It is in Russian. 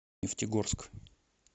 нефтегорск